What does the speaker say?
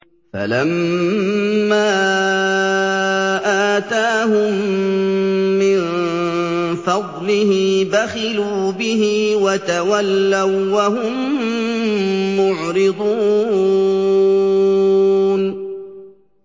فَلَمَّا آتَاهُم مِّن فَضْلِهِ بَخِلُوا بِهِ وَتَوَلَّوا وَّهُم مُّعْرِضُونَ